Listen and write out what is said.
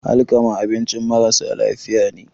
alkama abincin marasa lafiya ne